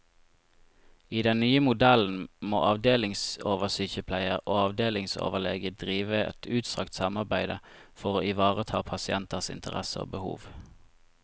I den nye modellen må avdelingsoversykepleier og avdelingsoverlege drive et utstrakt samarbeide for å ivareta pasienters interesser og behov.